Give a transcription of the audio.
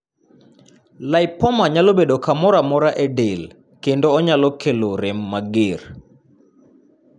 lipoma nyalo bedo kamoro amora e del kendo onyalo kelo rem mager.